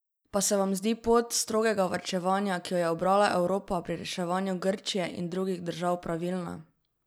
Pa se vam zdi pot strogega varčevanja, ki jo je ubrala Evropa pri reševanju Grčije in drugih držav, pravilna?